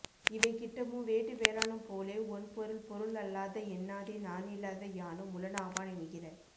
இவை கிட்டமும் வேட்டு வேளானும் போலே ஒண் பொருள் பொருள் அல்லாத என்னாதே நானில்லாத யானும் உளனாவான் என்கிற